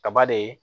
Kaba de